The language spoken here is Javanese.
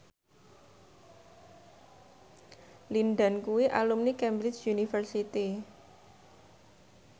Lin Dan kuwi alumni Cambridge University